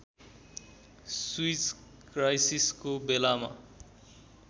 Swiss क्राइसिसको बेलामा